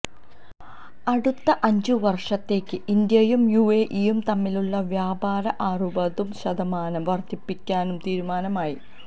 അടുത്ത അഞ്ചു വര്ഷത്തേക്ക് ഇന്ത്യയും യുഎഇയും തമ്മിലുള്ള വ്യാപാരം അറുപതു ശതമാനം വര്ധിപ്പിക്കാനും തീരുമാനമായി